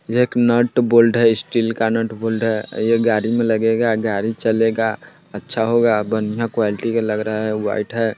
एक नट-बोल्ट है स्टील का नटबोल्ट है ये गाड़ी में लगेगा गाड़ी चलेगा अच्छा होगा बढ़िया क्वालिटी का लग रहा है। वाइट है।